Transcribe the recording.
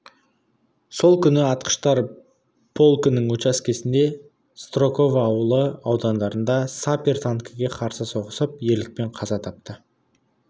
сол күні атқыштар полкінің учаскесінде строково ауылы ауданында сапер танкіге қарсы соғысып ерлікпен қаза тапты